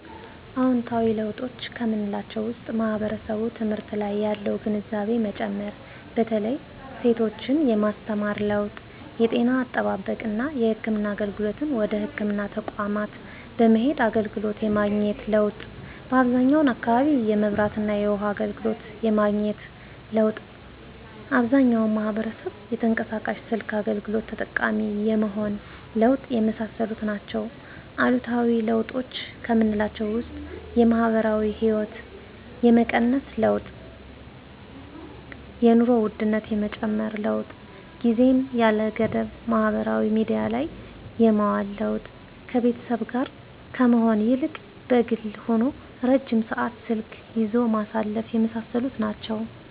አዎንታዊ ለውጦች ከምላቸው ውስጥ ማህበረሰቡ ትምህርት ላይ ያለው ግንዛቤ መጨመር በተለይ ሴቶችን የማስተማር ለውጥ የጤና አጠባበቅና የህክምና አገልግሎትን ወደ ህክምና ተቋማት በመሄድ አገልግሎት የማግኘት ለውጥ በአብዛኛው አካባቢ የመብራትና የውሀ አገልግሎት የማግኘት ለውጥ አብዛኛው ማህበረሰብ የተንቀሳቃሽ ስልክ አገልግሎት ተጠቃሚ የመሆን ለውጥ የመሳሰሉት ናቸው። አሉታዊ ለውጦች ከምላቸው ውስጥ የማህበራዊ ህይወት የመቀነስ ለውጥ የኑሮ ውድነት የመጨመር ለውጥ ጊዜን ያለ ገደብ ማህበራዊ ሚዲያ ላይ የማዋል ለውጥ ከቤተሰብ ጋር ከመሆን ይልቅ በግል ሆኖ ረጅም ሰዓት ስልክ ይዞ ማሳለፍ የመሳሰሉት ናቸው።